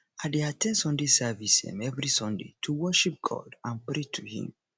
i dey at ten d sunday service um every sunday to worship god and pray to him